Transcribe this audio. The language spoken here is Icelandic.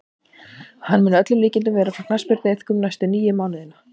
Hann mun að öllum líkindum vera frá knattspyrnuiðkun næstu níu mánuðina.